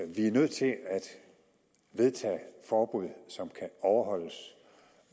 vi er nødt til at vedtage forbud som kan overholdes